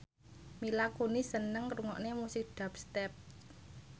Mila Kunis seneng ngrungokne musik dubstep